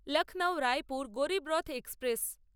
Lucknow Raipur Garib Rath express